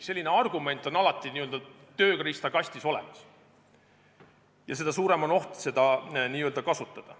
Selline argument on alati n-ö tööriistakastis olemas ja seda suurem on oht seda kasutada.